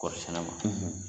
Kɔɔri sɛnɛma ,.